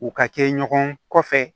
U ka kɛ ɲɔgɔn kɔfɛ